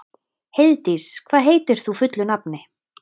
Heiðdís, hvað heitir þú fullu nafni?